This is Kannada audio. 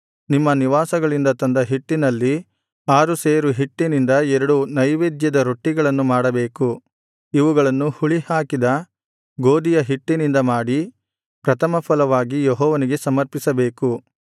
ನಿಮ್ಮ ನಿವಾಸಗಳಿಂದ ತಂದ ಹಿಟ್ಟಿನಲ್ಲಿ ಆರು ಸೇರು ಹಿಟ್ಟಿನಿಂದ ಎರಡು ನೈವೇದ್ಯದ ರೊಟ್ಟಿಗಳನ್ನು ಮಾಡಬೇಕು ಇವುಗಳನ್ನು ಹುಳಿಹಾಕಿದ ಗೋದಿಯ ಹಿಟ್ಟಿನಿಂದ ಮಾಡಿ ಪ್ರಥಮಫಲವಾಗಿ ಯೆಹೋವನಿಗೆ ಸಮರ್ಪಿಸಬೇಕು